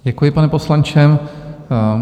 Děkuji, pane poslanče.